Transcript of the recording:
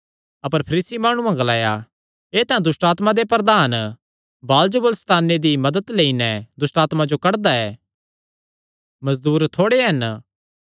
अपर फरीसी माणुआं ग्लाया एह़ तां दुष्टआत्मां दे प्रधान बालजबूल सैताने दी मदत लेई नैं दुष्टआत्मां जो कड्डदा ऐ